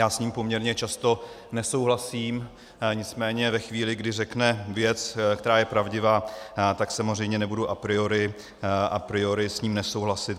Já s ním poměrně často nesouhlasím, nicméně ve chvíli, kdy řekne věc, která je pravdivá, tak samozřejmě nebudu a priori s ním nesouhlasit.